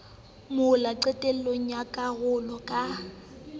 mola qetellong ya karolo ka